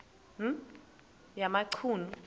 yamachunu